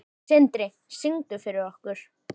Sindri: Syngdu fyrir okkur?